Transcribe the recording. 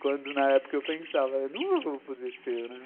Quando, na época, eu pensava, eu nunca vou poder ser, né.